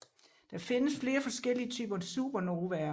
Der findes flere forskellige typer supernovaer